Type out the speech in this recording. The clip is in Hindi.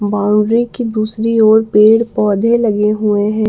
बाउंड्री के दूसरी ओर पेड़ पौधे लगे हुए हैं।